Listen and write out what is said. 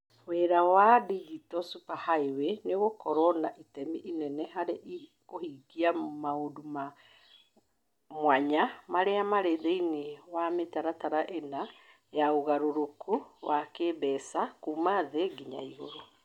Wĩra wa Digital Superhighway nĩ ũgũkorũo na itemi inene harĩ kũhingia maũndũ ma mwanya marĩa marĩ thĩinĩ wa mĩtaratara ĩna ya ũgarũrũku wa kĩĩmbeca kuuma thĩ nginya igũrũ.